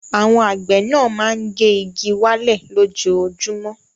Àwọn àgbẹ̀ náà máa ń gé igi wálẹ̀ lójoojúmọ́.